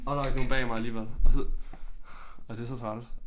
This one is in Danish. Åh der var ikke nogen bag mig alligevel og så og det så træls